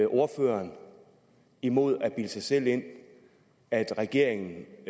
ordføreren imod at bilde sig selv ind at regeringen